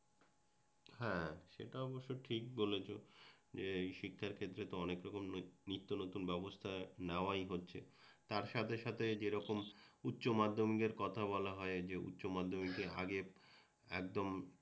হ্যাঁ সেটা অবশ্য ঠিক বলেছ যে এই শিক্ষার ক্ষেত্রে অনেক নিত্য নতুন ব্যবস্থা নেওয়াই হচ্ছে তার সাথে সাথে যেরকম উচ্চমাধ্যমিকের কথা বলা হয় যে উচ্চমাধ্যমিকে আগে একদম